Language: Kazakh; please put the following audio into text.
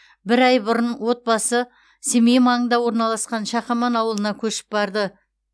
бір ай бұрын отбасы семей маңында орналасқан шақаман ауылына көшіп барды